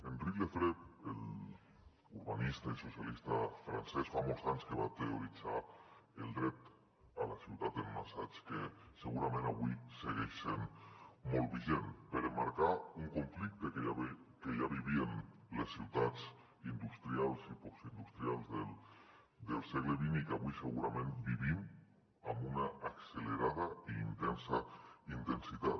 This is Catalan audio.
henri lefebvre l’urbanista i socialista francès fa molts anys que va teoritzar el dret a la ciutat en un assaig que segurament avui segueix sent molt vigent per emmarcar un conflicte que ja vivien les ciutats industrials i postindustrials del segle xx i que avui segurament vivim amb una accelerada i intensa intensitat